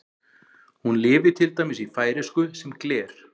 Hún lifir til dæmis í færeysku sem gler.